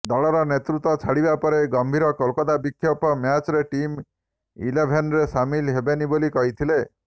ଦଳର ନେତୃତ୍ୱ ଛାଡ଼ିବା ପରେ ଗମ୍ଭୀର କୋଲକାତା ବିପକ୍ଷ ମ୍ୟାଚ୍ରେ ଟିମ୍ ଇଲେଭେନ୍ରେ ସାମିଲ ହେବେନି ବୋଲି କହିଥିଲେ